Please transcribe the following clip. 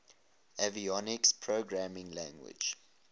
avionics programming language